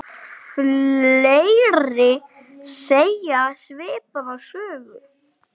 Hvíl þú í friði, ljúfur.